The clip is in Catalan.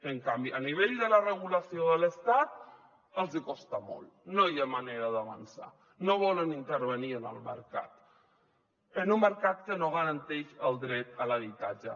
en canvi a nivell de la regulació de l’estat els hi costa molt no hi ha manera d’avançar no volen intervenir en el mercat en un mercat que no garanteix el dret a l’habitatge